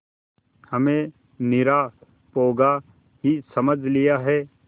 हमें निरा पोंगा ही समझ लिया है